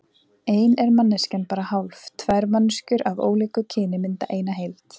Ein er manneskjan bara hálf, tvær manneskjur af ólíku kyni mynda eina heild.